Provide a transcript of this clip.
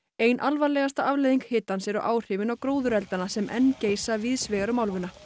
ein alvarlegasta afleiðing hitans eru áhrifin á góðureldana sem enn geisa víðs vegar um álfuna